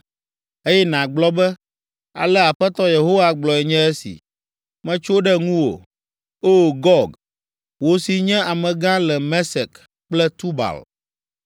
eye nàgblɔ be, ale Aƒetɔ Yehowa gblɔe nye esi: Metso ɖe ŋuwò, O! Gog, wò si nye amegã le Mesek kple Tubal.